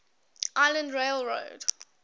island rail road